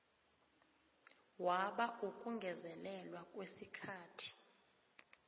bawa ukungezelelwa kwesikhathi